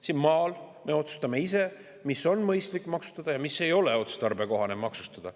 Siin maal me otsustame ise, mida on mõistlik maksustada ja mida ei ole otstarbekohane maksustada.